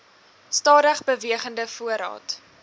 stadig bewegende voorraad